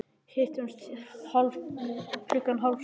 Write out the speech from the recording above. Hittumst klukkan hálf sjö.